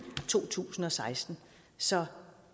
to tusind og seksten så